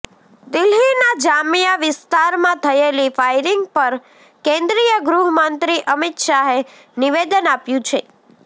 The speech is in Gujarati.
દિલ્હીના જામિયા વિસ્તારમાં થયેલી ફાયરિંગ પર કેન્દ્રીય ગૃહ મંત્રી અમિત શાહે નિવેદન આપ્યું છે